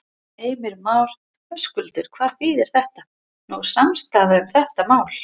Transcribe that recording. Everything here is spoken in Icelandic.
Heimir Már: Höskuldur, hvað þýðir þetta, nú er samstaða um þetta mál?